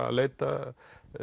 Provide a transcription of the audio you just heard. að leita